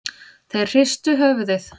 Þeir hristu höfuðið.